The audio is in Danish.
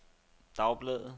dagbladet